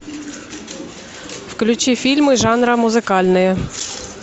включи фильмы жанра музыкальные